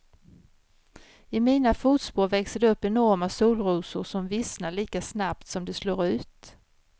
I mina fotspår växer det upp enorma solrosor som vissnar lika snabbt som de slår ut.